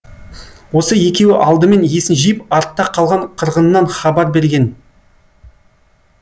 осы екеуі алдымен есін жиып артта қалған қырғыннан хабар берген